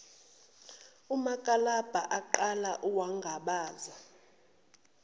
umakalabha aqala wangabaza